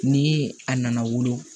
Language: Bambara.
Ni a nana wolo